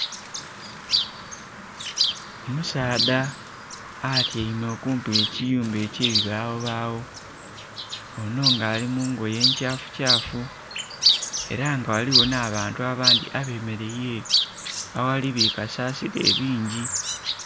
Omusaadha atyaime okumpi ghe kiyumba ekye bibawo bawo onho nga ali mungoye nkyafu kyafu era nga ghaligho nha bantu abandhi abemereire ere agali bi kasasiro ebingi.